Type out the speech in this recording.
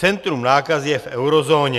Centrum nákazy je v eurozóně.